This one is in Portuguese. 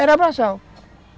Era braçal.